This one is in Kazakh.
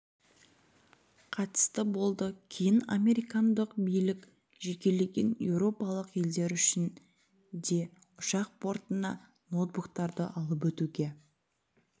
қатысты болды кейін американдық билік жекелеген еуропалық елдер үшін де ұшақ бортына ноутбуктарды алып өтуге